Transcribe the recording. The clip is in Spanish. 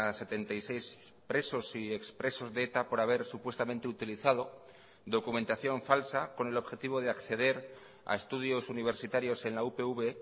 setenta y seis presos y expresos de eta por haber supuestamente utilizado documentación falsa con el objetivo de acceder a estudios universitarios en la upv